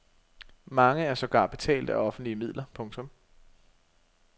Mange er sågar betalt af offentlige midler. punktum